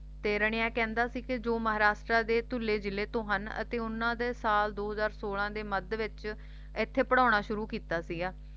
ਤੇ ਰਣੀਆ ਕਹਿੰਦਾ ਸੀ ਵੀ ਜੋ ਮਹਾਰਾਸ਼ਟਰਾ ਦੇ ਧੁੱਲੇ ਜਿਲ੍ਹੇ ਤੋਂ ਹਨ ਅਤੇ ਉਨ੍ਹਾਂ ਨੇ ਸਾਲ ਦੋ ਹਜ਼ਾਰ ਸੋਲਾਂ ਦੇ ਮੱਧ ਵਿਚ ਇੱਥੇ ਪੜ੍ਹਾਉਣਾ ਸ਼ੁਰੂ ਕੀਤਾ ਸੀਗਾ